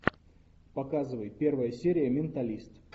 показывай первая серия менталист